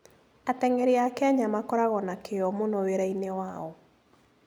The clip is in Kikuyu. Ateng'eri a Kenya makoragwo na kĩyo mũno wĩra-inĩ wao.